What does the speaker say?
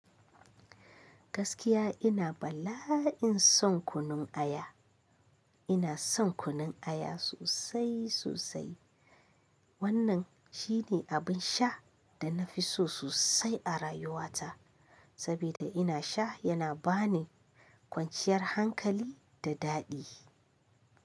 Gaskiya ina bala'in son kunun aya. Ina son kunun aya sosai sosai. Wannan shine abin sha da na fi so sosai a rayuwata, sabida ina sha yana ba ni kwanciyar hankali da daɗi.